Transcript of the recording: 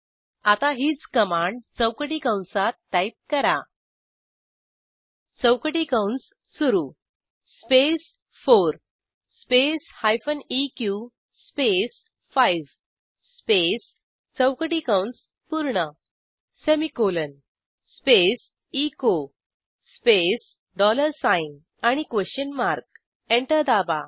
आता हीच कमांड चौकटी कंसात टाईप करा चौकटी कंस सुरू स्पेस 4 स्पेस हायफेन इक स्पेस 5 स्पेस चौकटी कंस पूर्ण semicolon space echo space dollar sign question mark enter दाबा